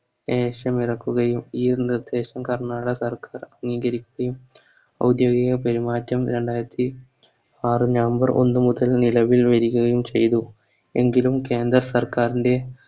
Case നടക്കുകയും ഈ യൊരു നിർദ്ദേശം കർണ്ണാടക സർക്കാർ സ്വീകരിക്കുകയും അതെ പെരുമാറ്റം രണ്ടായിരത്തി ആറ് November ഒന്നു മുതൽ നിലവിൽ വരുകയും ചെയ്തു എങ്കിലും കേന്ദ്ര സർക്കാരിൻറെ